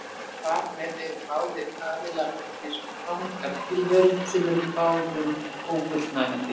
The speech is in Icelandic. Og þar með eru báðir aðilar orðnir fangar tilveru sem er báðum ófullnægjandi.